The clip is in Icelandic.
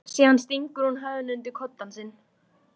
Síðan stingur hún höfðinu undir koddann sinn.